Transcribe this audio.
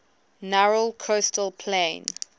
narrow coastal plain